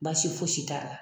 Baasi fosi t'a la.